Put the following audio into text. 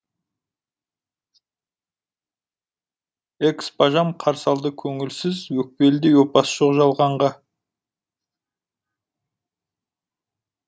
экс бажам қарсы алды көңілсіз өкпелідей опасы жоқ жалғанға